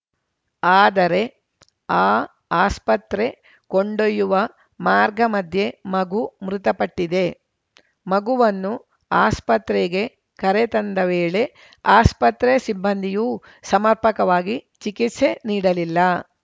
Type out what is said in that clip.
ಆದರೆ ಆ ಆಸ್ಪತ್ರೆ ಕೊಂಡೊಯ್ಯುವ ಮಾರ್ಗಮಧ್ಯೆ ಮಗು ಮೃತಪಟ್ಟಿದೆ ಮಗುವನ್ನು ಆಸ್ಪತ್ರೆಗೆ ಕರೆ ತಂದ ವೇಳೆ ಆಸ್ಪತ್ರೆ ಸಿಬ್ಬಂದಿಯೂ ಸಮರ್ಪಕವಾಗಿ ಚಿಕಿತ್ಸೆ ನೀಡಲಿಲ್ಲ